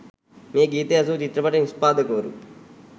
මේ ගීතය ඇසූ චිත්‍රපට නිෂ්පාදකවරු